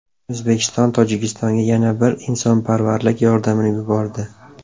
O‘zbekiston Tojikistonga yana bir insonparvarlik yordamini yubordi.